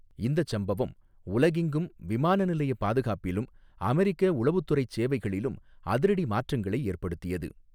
இந்தச் சம்பவம் உலகெங்கும் விமான நிலையப் பாதுகாப்பிலும் அமெரிக்க உளவுத்துறைச் சேவைகளிலும் அதிரடி மாற்றங்களை ஏற்படுத்தியது.